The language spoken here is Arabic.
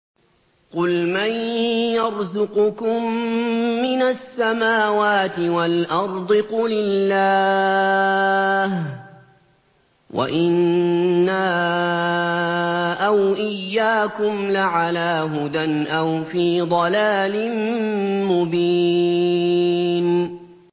۞ قُلْ مَن يَرْزُقُكُم مِّنَ السَّمَاوَاتِ وَالْأَرْضِ ۖ قُلِ اللَّهُ ۖ وَإِنَّا أَوْ إِيَّاكُمْ لَعَلَىٰ هُدًى أَوْ فِي ضَلَالٍ مُّبِينٍ